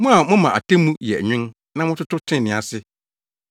Mo a moma atemmu yɛ nwen na mototo trenee ase.